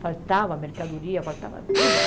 Faltava mercadoria, faltava tudo.